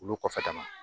Olu kɔfɛ tan